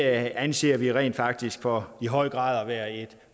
anser vi rent faktisk for i høj grad at være et